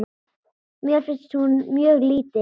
Mér finnst hún mjög lítil.